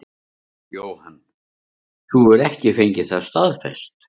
Jóhann: Þú hefur ekki fengið það staðfest?